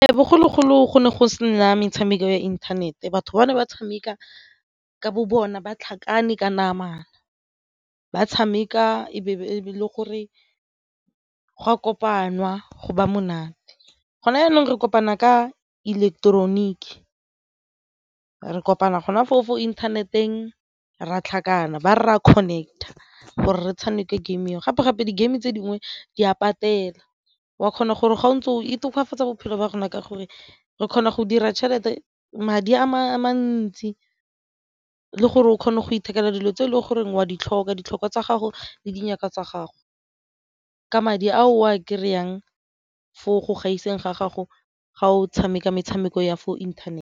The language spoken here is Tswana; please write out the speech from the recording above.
Bogologolo go ne go sena metshameko ya inthanete batho bangwe ba tshameka ka bo bona ba tlhakane ka namana ba tshameka e be e le gore go a kopaniwa go ba monate. Gona jaanang re kopana ka ileketeroniki, re kopana gona fao fo internet-eng re tlhakane ba re re a connect-a gore re tshameko game eo gape-gape di-game tse dingwe di a patela o a kgona gore ga o ntse o e tokafatsa bophelo ba rona ka gore re kgona go dira tšhelete, madi a mantsi le gore o kgone go ithekela dilo tse e leng goreng o a di tlhoka, tsa gago le dithaka tsa gago ka madi a o a kry-ang foo go gaiseng ga gago ga o tshameka metshameko ya fo inthanete.